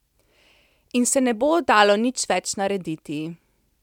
In se ne bo dalo nič več narediti.